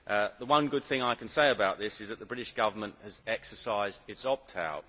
The one good thing I can say about this is that the British Government has exercised its opt out.